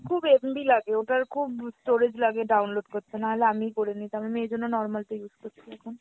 খুব MB লাগে, ওটার খুব storage লাগে download করতে নাহলে আমিই করে নিতাম, আমি এজন্য normal টা use করছি এখন।